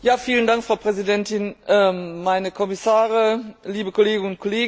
Frau Präsidentin, meine Kommissare, liebe Kolleginnen und Kollegen!